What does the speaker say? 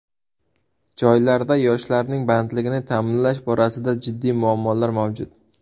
Joylarda yoshlarning bandligini ta’minlash borasida jiddiy muammolar mavjud.